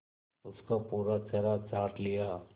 उसका पूरा चेहरा चाट लिया